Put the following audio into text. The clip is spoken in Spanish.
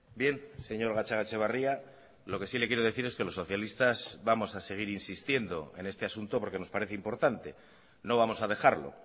bien señor gatzagaetxebarria lo que sí le quiero decir es que los socialistas vamos a seguir insistiendo en este asunto porque nos parece importante no vamos a dejarlo